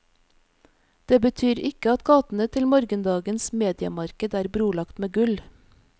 Det betyr ikke at gatene til morgendagens mediemarked er brolagt med gull.